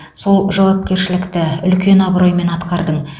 сол жауапкершілікті үлкен абыроймен атқардың